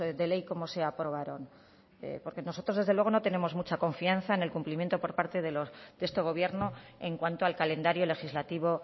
de ley como se aprobaron porque nosotros desde luego no tenemos mucha confianza en el cumplimiento por parte de este gobierno en cuanto al calendario legislativo